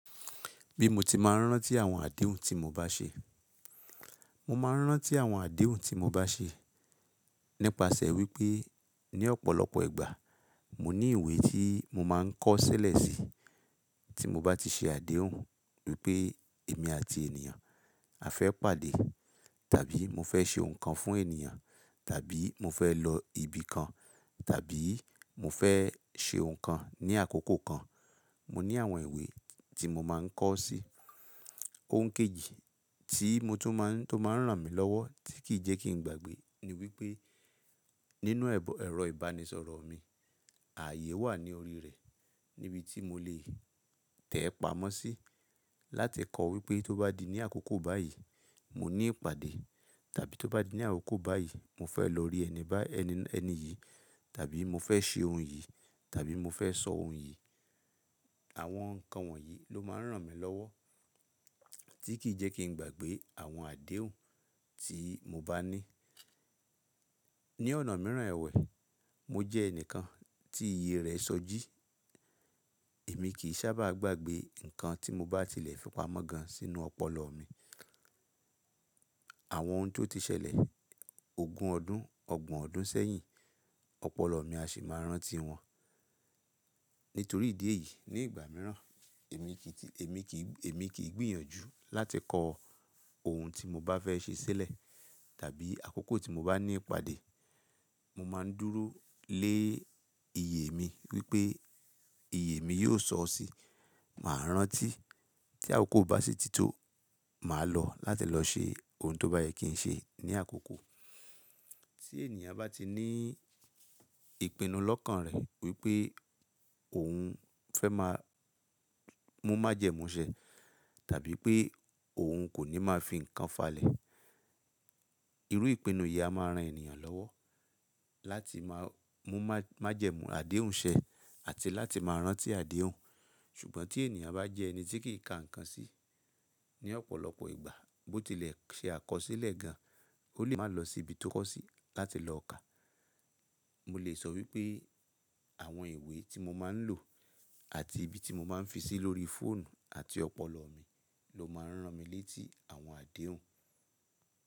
Bí mo ti máa ń rántí àwọn àdéhùn tí mo bá ṣe. Mo máa ń rántí àwọn àdéhùn tí mo bá ṣe nípasẹ̀ wípé ní ọ̀pọ̀lọpọ̀ ìgbà mo ní ìwé tí mo máa ń kọ sílẹ̀ sí tí mo bá ti ṣe àdéhùn wípé èmi àti ènìyàn a fẹ́ pàdé, tàbí mo fẹ́ ṣe ohun kan fún ènìyàn, tàbí mo fẹ́ lọ ibi kan, tàbí mo fẹ́ ṣe ohun kan ní àkókò kan. Mo ní àwọn ìwé tí mo máa ń kọ sí. Ohun kejì tí mo tún máa ń, tó máa ń ràn mí lọ́wọ́ tí kì í jẹ́ kí n gbàgbé ni wípé nínú ẹ̀rọ ìbánisọ̀rọ̀ mi, àyè wà ní orí rẹ̀ níbi tí mo lè tẹ̀ẹ́ pamọ́ sí láti kọ́ wípé tó bá di ní àkókò báyìí mo ní ìpàdé, tàbí tó bá di ní àkókò báyìí mo fẹ́ lọ rí ẹni bá ẹni yìí, tàbí mo fẹ́ ṣe ohun yìí, tàbí mo fẹ́ sọ ohun yìí. Àwọn nǹkan wọ̀nyí ló máa ń ràn mí lọ́wọ́ tí kì í jẹ́ kí n gbàgbé àwọn àdéhùn tí mo bá ní. Ni ọ̀nà mìíràn ẹwẹ̀, mo jẹ́ ẹnìkan tí iye rẹ̀ sọjí. Èmi kì í sábà gbàgbé nǹkan tí mo bá tilẹ̀ fi pamọ́ gan sínú ọpọlọ mi. Àwọn ohun tó ti ṣẹlẹ̀ ogún ọdún, ọgbọ̀n ọdún sẹ́yìn, ọpọlọ mi a sì máa rántí wọn. Nítorí ìdí èyí ní ìgbà mìíràn èmi kì í, èmi kì í, èmi kì í gbìyànjú láti kọ ohun tí mo bá fẹ́ ṣe sílẹ̀ tàbí àkókò tí mo bá ní ìpàdé. Mo máa ń dúró lé iyè mi wípé iyè mi yóò sọ ọ́ sí, màá rántí. Tí àkókò bá sì tító, màá lọ láti lọ ṣe ohun tó bá yẹ kí n ṣe ní àkókò. Tí ènìyàn bá ti ní ìpinnu lọ́kàn rẹ̀ wípé òun fẹ́ máa mú májẹ̀mú ṣẹ, tàbí pé òun kò ní máa fi nǹkan falẹ̀. Irú ìpinnu yìí a máa ran ènìyàn lọ́wọ́ láti máa mú májẹ̀mú àdéhùn ṣẹ àti láti máa rántí àdéhùn. Ṣùgbọ́n tí ènìyàn bá jẹ́ ẹni tí kì í ka nǹkan sí ní ọ̀pọ̀lọpọ̀ ìgbà bó tilẹ̀ ṣe àkọsílẹ̀ gan, ó lè máa lọ sí ibi tó kọ̀ sí láti lọ kà. Mo lè sọ wípé àwọn ìwé tí mo máa ń lò àti ibi tí mo máa ń fi sí lórí fóònù àti ọpọlọ mi ló máa ń ràn mí létí àwọn àdéhùn.